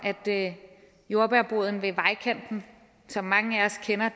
at jordbærboden ved vejkanten som mange af os kender